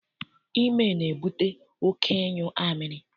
Ime na-ebute oké ịnyụ amịrị.